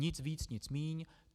Nic víc, nic míň.